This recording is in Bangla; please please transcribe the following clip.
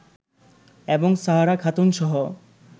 এবং সাহারা খাতুনসহ